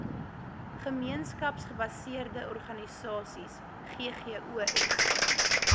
gemeenskapsgebaseerde organisasies ggos